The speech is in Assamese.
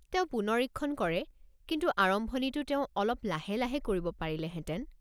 তেওঁ পুনৰীক্ষণ কৰে কিন্তু আৰম্ভণিটো তেওঁ অলপ লাহে লাহে কৰিব পাৰিলেহেঁতেন।